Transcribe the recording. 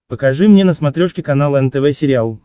покажи мне на смотрешке канал нтв сериал